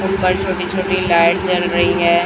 ऊपर छोटी छोटी लाइट जल रही है।